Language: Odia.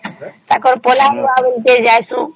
ତାଙ୍କର ପଳାଉ ଟିକେ ଜୀଉଷୁ